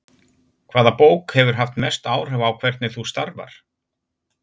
Hvaða bók hefur haft mest áhrif á hvernig þú starfar?